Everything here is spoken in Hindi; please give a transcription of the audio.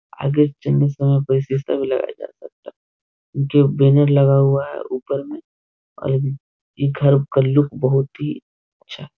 आगे का भी लगाया जा सकता है जो बैनर लगा हुआ है ऊपर में और इ घर का लुक बहुत ही अच्छा --